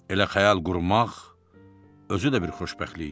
Elə xəyal qurmaq özü də bir xoşbəxtlik idi.